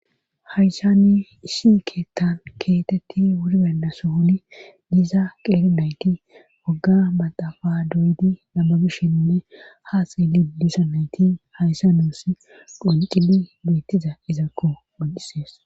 Hayssani isi keettan keetetti wurbanda sohuni diiza qeerinayti wagga maxafa doydi lammabishenne haa xeelilusa nayti hayssa nuus qoncili beettiza izakko godisees.